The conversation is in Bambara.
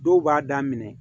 Dɔw b'a daminɛ